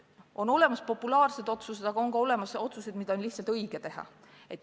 On olemas populaarsed otsused, aga on ka olemas otsused, mida on lihtsalt õige langetada.